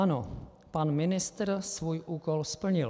Ano, pan ministr svůj úkol splnil.